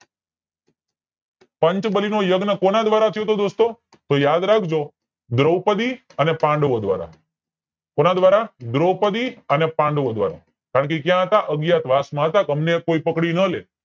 પંચબલી નો યજ્ઞ કોના દ્વારા થયોતો દોસ્તો તો યાદ રાખજો દ્રૌપદી અને પાંડવો દ્વારા કોના દ્વારા દ્રૌપદી અને પાંડવો દ્વારા કારણ કે ક્યાં હતા અજ્ઞાતવાસ માં હતા અમને કોઈ પકડી નો લે